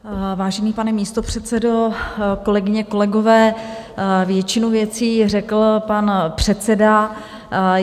Vážený pane místopředsedo, kolegyně, kolegové, většinu věcí řekl pan předseda.